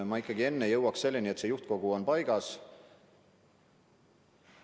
Ma ikkagi enne jõuaks selleni, et juhtkogu on paigas.